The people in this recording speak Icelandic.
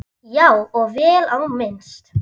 Já, og vel á minnst.